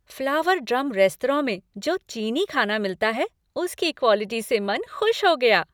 Flower Drum restaurant में जो चीनी खाना मिलता है उसकी क्वालिटी से मन खुश हो गया।